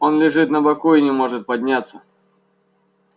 он лежит на боку и не может подняться